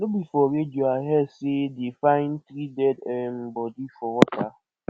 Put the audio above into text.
no be for radio i hear say dey find three dead um body for water